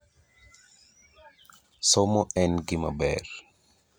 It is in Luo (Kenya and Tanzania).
esumnd tnd Si tekaunti e tamthilia ‘kigogo’ which lapses in 2021 will be replaced by ‘si shwari.